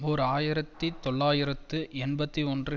ஓர் ஆயிரத்தி தொள்ளாயிரத்து எண்பத்தி ஒன்று